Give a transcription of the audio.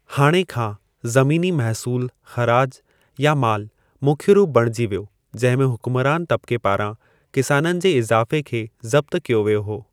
हाणे खां, ज़मीनी महसूलु (ख़राज या माल) मुख्य रूप बणिजी वियो जंहिं में हुक्मरानि तब्क़े पारां किसाननि जे इज़ाफ़े खे ज़ब्तु कयो वियो हो।